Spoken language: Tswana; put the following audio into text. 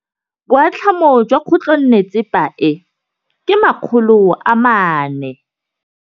Boatlhamô jwa khutlonnetsepa e, ke 400.